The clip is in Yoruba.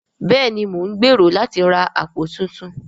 Bẹ́ẹ̀ni mo ń gbèrò láti ra àpò tuntun